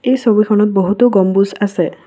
এই ছবিখনত বহুতো গম্বুজ আছে।